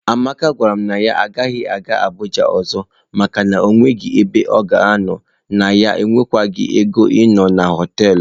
Amaka gwara m na ya agaghị aga Abuja ọzọ maka na o nweghị ebe ọ ga-anọ, na ya enweghịkwa ego ịnọ na hoteelu.